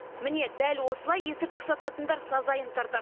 міне дәл осылай есірткі сататындар сазайын тартады